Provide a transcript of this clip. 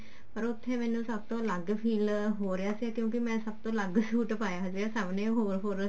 ਪਰ ਉੱਥੇ ਮੈਨੂੰ ਸਭ ਤੋਂ ਅਲੱਗ feel ਹੋ ਰਿਹਾ ਸੀਗਾ ਕਿਉਂਕਿ ਮੈਂ ਸਭ ਤੋਂ ਅਲੱਗ ਸੂਟ ਪਾਇਆ ਸੀਗਾ ਸਭ ਨੇ ਹੋਏ ਹੋਰ